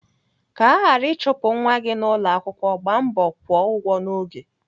Ka aghara ịchụpụ nwa gị n'ụlọakwụkwọ, gbaa mbọ kwụọ ụgwọ n'oge.